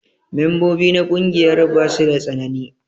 Membobi na ƙungiyar basu da tsanani.